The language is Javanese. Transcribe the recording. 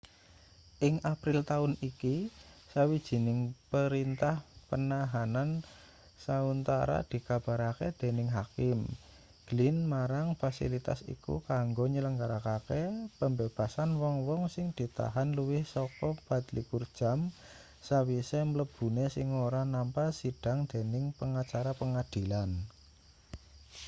ing april taun iki sawijining perintah penahanan sauntara dikabarake dening hakim glynn marang fasilitas iku kanggo nyelenggarakake pembebasan wong-wong sing ditahan luwih saka 24 jam sawise mlebune sing ora nampa sidhang dening pengacara pengadilan